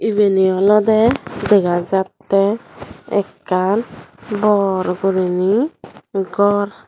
ebeni olode degajate ekan bor guriney gor.